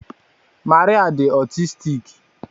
Maria di otistiki